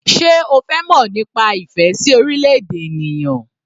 Sé o fẹ́ mọ̀ nípa ìfẹ́ sí orílẹ̀-èdè ènìyàn?